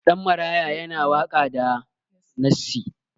Ɗan maraya yana waka da nassi